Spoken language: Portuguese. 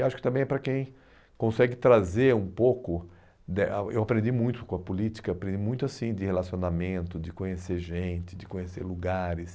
E acho que também é para quem consegue trazer um pouco, de eu aprendi muito com a política, aprendi muito assim de relacionamento, de conhecer gente, de conhecer lugares.